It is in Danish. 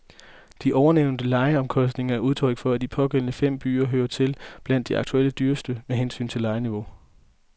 De ovennævnte lejeomkostninger er udtryk for, at de pågældende fem byer hører til blandt de aktuelt dyreste med hensyn til lejeniveau.